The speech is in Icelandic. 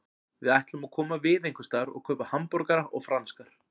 Við ætlum að koma við einhversstaðar og kaupa hamborgara og franskar.